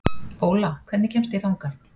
Óla, hvernig kemst ég þangað?